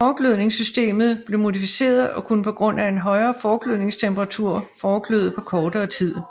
Forglødningssystemet blev modificeret og kunne på grund af en højere forglødningstemperatur forgløde på kortere tid